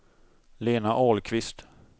Lena Ahlqvist